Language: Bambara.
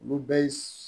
Olu bɛɛ ye